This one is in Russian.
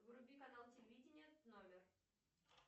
вруби канал телевидение номер